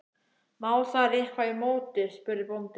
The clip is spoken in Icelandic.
Má þar eitthvað í móti, spurði bóndi?